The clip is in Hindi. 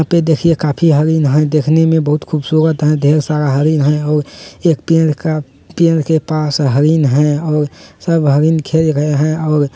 एते देखिए काफी हरिण हैं देखने में बहुत खूबसूरत हैं ढ़ेर सारा हरिण हैं और एक पेड़ का पेड़ के पास हरिण हैं और सब हरिण खेल रहें हैं और --